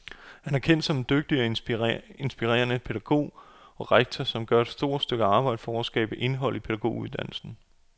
Han er kendt som en dygtig og inspirerende pædagog og rektor, som gør et stort arbejde for at skabe indhold i pædagoguddannelsen.